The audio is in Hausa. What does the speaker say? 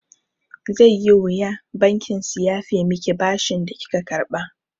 Zai yi wuya bankin su yafe miki bashin da kika karɓa.